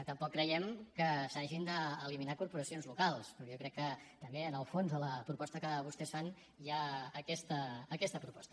tampoc creiem que s’hagin d’eliminar corporacions locals perquè jo crec que també en el fons de la proposta que vostès fan hi ha aquesta proposta